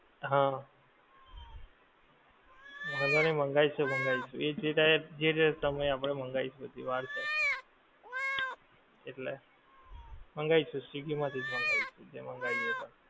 હા વાંધો નહીં મંગાઈ શું મંગાઈ શું એ જે એ જે તે તમે આપડે મંગાઈશું હજી વાર છે એટલે મંગાઈશું swiggy માંથીજ મંગાઈશું જે મંગાઈ એક વાર